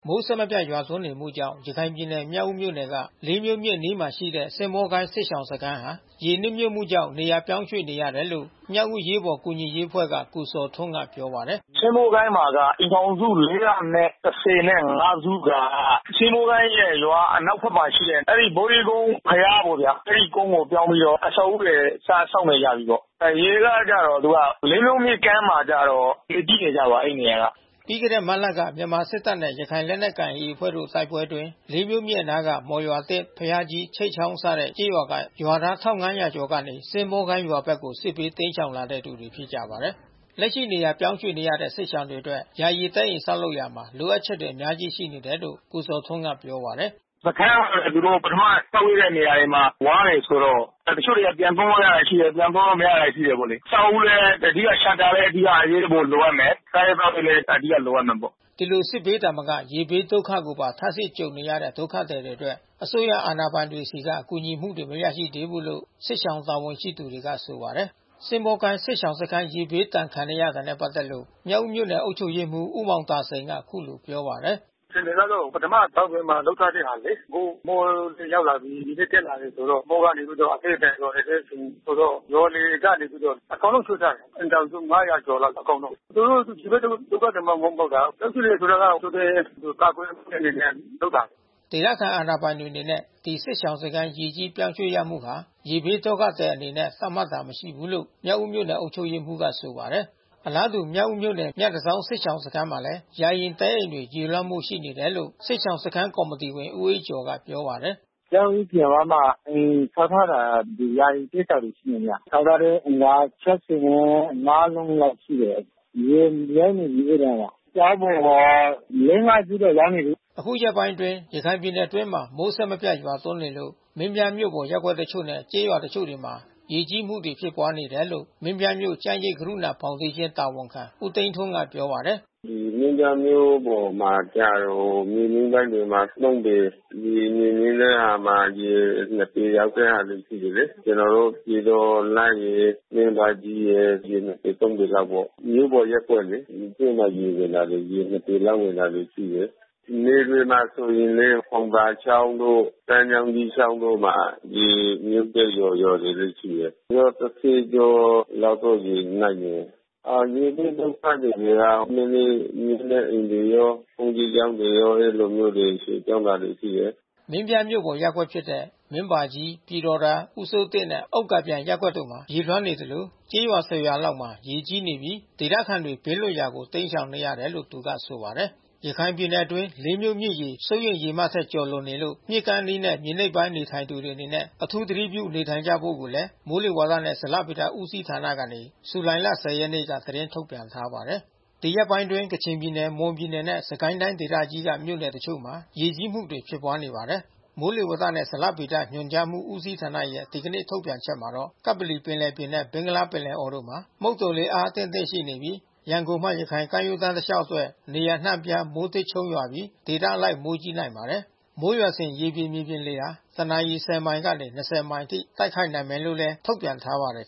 မိုး အဆက်မပြတ် ရွာသွန်းနေမှုကြောင့် ရခိုင်ပြည်နယ် မြောက်ဦးမြို့နယ်က လေးမြို့မြစ်အနီးမှာရှိတဲ့ စင်းဘောကိုင်း စစ်ရှောင်စခန်းဟာ ရေနစ်မြှုပ်မှုကြောင့် နေရာပြောင်းရွှေ့နေရတယ်လို့ မြောက်ဦးအရေးပေါ် ကူညီရေးအဖွဲ့က ကိုဇော်ထွန်းက ပြောပါတယ်။ "စင်းဘောကိုင်းမှာက အိမ်ထောင်စု ၄၁၅ စုက စင်းဘောကိုင်းရဲ့ ရွာအနောက်ဘက်မှာ ရှိတဲ့ အဲဒီဗေါဓိကုန်းဘုရားပေါ့ဗျာ။ အဲဒီကုန်းပေါ်ပြောင်းပြီးတော့ အဆောက်အဦးတွေ စဆောက်နေကြပြီးပေါ့။ ရေကကျတော့ သူက လေးမြို့မြစ်ကမ်းမှာ ရေကြီးနေကြပါတယ် အဲဒီနေရာက။" ပြီးခဲ့တဲ့မတ်လက မြန်မာစစ်တပ်နဲ့ ရခိုင့်လက်နက်ကိုင် AA အဖွဲ့တို့ တိုက်ပွဲအတွင်း လေးမြို့မြစ်အနားက မော်ရွာ၊ သစ်၊ ဘုရားကြီး၊ ချိတ်ချောင်းစတဲ့ ကျေးရွာက ရွာသား ၁၅၀၀ ကျော်ကနေ စင်းဘောကိုင်းရွာဘက်ကို စစ်ဘေးတိမ်း ရှောင်လာတဲ့သူတွေ ဖြစ်ကြပါတယ်။ လက်ရှိနေရာပြောင်းရွှေ့နေရတဲ့ စစ်ရှောင်တွေအတွက် ယာယီတဲ အိမ်ဆောက်လုပ်ရာမှာ လိုအပ်ချက်တွေ အများအပြားရှိနေတယ်လို့ ကိုဇော်ထွန်းက ပြောပါတယ်။ “စခန်းက သူတို့ပထမဆောက်ပေးတဲ့ နေရာမှာ ဝါးတွေဆိုတော့ တချို့နေရာမှာ ပြန်သုံးလို့ရတဲ့ဟာတွေ ရှိတယ်။ ပြန်သုံးလို့မရတဲ့ဟာတွေ ရှိတယ်ပေါ့လေ။ အဆောက်အဦးပဲ အဓိကရှပ်တာပဲ အဓိကအရေးပေါ် လိုအပ်မယ်။ စားရေးသောက်ရေးလည်း အဓိက လိုအပ်မယ်ပေါ့။” ဒီလို စစ်ဘေးသာမက ရေဘေးဒုက္ခကိုပါ ထပ်ဆင့်ကြုံနေရတဲ့ ဒုက္ခသည်တွေအတွက် အစိုးရအာဏာပိုင်တွေဆီက ကူညီမှုတွေ မရရှိသေးဘူးလို့ စခန်းတာဝန်ရှိသူတွေကဆိုပါတယ်။ စင်းဘောကိုင်း စစ်ရှောင်စခန်း ရေဘေးဒဏ်ခံနေရတာနဲ့ ပတ်သက်လို့ မြောက်ဦးမြို့နယ်အုပ်ချုပ်ရေးမှူး ဦးမောင် သာစိန်က အခုလိုပြောပါတယ်။ “အခြေအနေကတော့ ပထမသောင်ပြင်မှာ လုပ်ထားတဲ့ဟာလေ။ အခု မိုးတွင်းရောက်လာပြီး ရေလည်း တက်လာပြီးဆိုတော့ မိုးကလည်း အသည်းအထန် ရွာနေတယ်ဆိုတော့။ ရွာတွေကနေပြီးတော့ အကုန်လုံးရွှေ့ကြတယ်။ အိမ်ထောင်စု ၅၀၀ ကျော်လောက်အကုန်လုံး။ သူတို ရေဘေးဒုက္ခသည်မှမဟုတ်တာ။ ပြောင်းရွှေ့တယ်ဆိုတာက ကြိုတင်ကာကွယ်တဲ့ အနေနဲ့လုပ်တာ” ဒေသခံ အာဏာပိုင်တွေအနေနဲ့ ဒီစစ်ရှောင်စခန်း ရေကြီးပြောင်းရွှေ့ရမှုဟာ ရေဘေးဒုက္ခသည်အနေနဲ့ သတ်မှတ်တာ မရှိဘူးလို့ မြောက်ဦးမြို့နယ်အုပ်ချုပ်ရေးမှူးက ဆိုပါတယ်။ အလားတူ မြောက်ဦးမြို့နယ် မြတန်ဆောင်းစစ်ရှောင်စခန်းမှာလည်း ယာယီတဲအိမ်တွေရေလွှမ်းမိုးမှုရှိနေတယ်လို့ စစ်ရှောင်စခန်းကော်မီတီဝင် ဦးအေးကျော်ကပြောပါတယ်။ “ကျောင်းအပြင်ဝမှာ အိမ်ဆောက်ထားတာ ယာယီစစ်ရှောင်တွေရှိတယ် ခင်ဗျ။ ဆောက်ထားတဲ့အိမ်က ၆၅ လုံး လောက်ရှိတယ်။ ရေမြှုပ်နေပြီအဲတာ။ ကျောင်းပေါ်မှာ ၄-၅ စုတော့ရောက်နေပြီ။” ယခုရက်ပိုင်းအတွင်း ရခိုင်ပြည်နယ်အတွင်း မိုးအဆက်အပြတ်ရွာသွန်းနေလို့ မင်းပြားမြို့ပေါ် ရပ်ကွက်အချို့နဲ့ကျေးရွာ တစ်ချို့တွေမှာ ရေကြီးမှုတွေ ဖြစ်ပွါးနေတယ်လို့ မင်းပြားမြို့ ကျန်းရိပ်ကရုဏာဖေါင်ဒေးရှင်း တာဝန်ခံ ဦးသိန်းထွန်း ကပြောပါတယ်။ “မင်းပြားမြို့ပေါ်မှာကျတော့ မြေနိမ့်ပိုင်းတွေမှာကျတော့ ၃ ပေ။ မြေမြင့်ပိုင်းမှာကျတော့ ရေ ၂ ပေရောက်တဲ့ဟာတွေ ရှိတယ်လေ။ ကျနော်တို့ ပြည်တော်သာရယ် မင်းဘာကြီးရယ် ရေ ၂ ပေ ၃ ပေလောက်ပေါ့။ မြို့ပေါ်ရပ်ကွက်လေ။ နယ်တွေမှာဆိုရင်လည်း ဖေါင်သာချောင်းတို့ ပန်းမြောင်ကြီးချောင်းတို့မှာ ရေမြှုပ်တဲ့ ရွာတွေလည်းရှိတယ်။ ရွာ ၁၀ ကျော် လောက်တော့ ရေနစ်တယ်။ ရေဘေးဒုက္ခသည်တွေက နည်းနည်းမြင့်တဲ့ အိမ်တွေရော ဘုန်းကြီးကျောင်းတွေရော အဲဒီလိုမျိုးတွေ ရွှေ့ပြောင်းတာတွေ ရှိတယ်။” မင်းပြားမြို့ပေါ် ရပ်ကွက်ဖြစ်တဲ့ မင်းဘာကြီး၊ ပြည်တော်သာ၊ ဦးစိုးတင့်နှင့် ဥက္ကာပျံ ရပ်ကွက်တို့မှာ ရေလွှမ်းနေသလို ကျေးရွာ ၁၀ ရွာလောက်မှာ ရေကြီးနေပြီး ဒေသခံတွေ ဘေးလွတ်ရာကို တိမ်းရှောင်နေရတယ်လို့ သူကဆိုပါတယ်။ ရခိုင်ပြည်နယ်အတွင်း လေးမြို့မြစ်ရေ စိုးရိမ်ရေမှတ်ထက် ကျော်လွန်နေလို့ မြစ်ကမ်းအနီးနဲ့ မြေနိမ့်ပိုင်း နေထိုင်သူတွေအနေနဲ့ အထူးသတိပြု နေထိုင်ကြဖို့ကိုလည်း မိုးလေဝါသနဲ့ ဇလဗေဒဦးစီးဌာနကနေ ဇူလိုင်လ ၁၀ ရက်နေ့က သတင်းထုတ်ပြန်ထားပါတယ်။ ဒီရက်ပိုင်းအတွင်း ကချင်ပြည်နယ် မွန်ပြည်နယ်နဲ့ စစ်ကိုင်းတိုင်းဒေသကြီးက မြို့နယ်တချို့မှာ ရေကြီးမှုတွေ ဖြစ်ပွားနေပါတယ်။ မိုးလေဝသနှင့် ဇလဗေဒညွှန်ကြားမှု ဦးစီးဌာနရဲ့ ဒီကနေ့ထုတ်ပြန်ချက်မှာတော့ ကပ္ပလီပင်လယ်ပြင်နဲ့ ဘင်္ဂလားပင်လယ်အော်တို့မှာ မုတ်သုံလေအား အသင့်အတင့်ရှိနေပြီး ရန်ကုန်မှ ရခိုင်ကမ်းရိုးတန်း တလျှောက်အတွက် နေရာ အနှံ့အပြား မိုးထစ်ချုန်းရွာပြီး၊ ဒေသအလိုက် မိုးကြီးနိုင်ပါတယ်။ မိုးရွာစဉ် ရေပြင်၊ မြေပြင်လေက တနာရီ ၁၀ မိုင် ကနေ ၂၀ မိုင်အထိ တိုက်ခတ်နိုင်မယ်လို့ ထုတ်ပြန်ထားပါတယ်